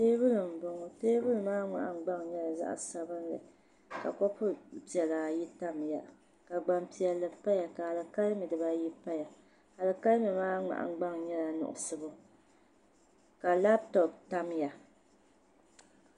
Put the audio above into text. Tee buli nim m bɔŋɔ teebuli maa mŋahin gbaŋ nyala zaɣi sabinli. ka kopu pɛla ayi tamya ka gban piɛli paya ka alikalimi dibaayi paya, alikalimi maa mŋahin gbaŋ nyala nuɣusuɣu ka lab top tamiya